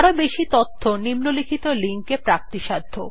আরও বেশি তথ্য নিম্নলিখিত লিঙ্ক এ প্রাপ্তিসাধ্য